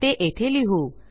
ते येथे लिहू